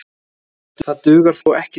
Það dugar þó ekki til.